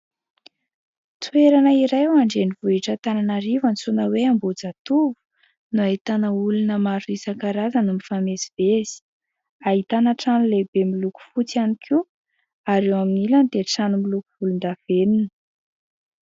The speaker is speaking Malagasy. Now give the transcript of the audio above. Toerana iray ao an-drenivohitra Antananarivo antsoina hoe Ambohijatovo no ahitana olona maro isankarazany mifamezivezy, ahitana trano lehibe miloko fotsy ihany koa ary ao amin'ilany dia trano miloko volondavenona.